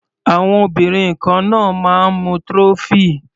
Àwọn obìnrin kan náà máa ń mu trophy.